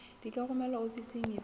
di ka romelwa ofising efe